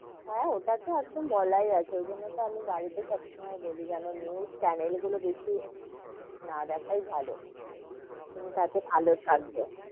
হেঁ, ওটা তো একদম বলাই আছে, ঐজন্য তো আমি বাড়ি তে সবসময় বলি যেন news channel গুলো বেশি না দেখায় ভালো তুমি তাতে ভালো থাকবে,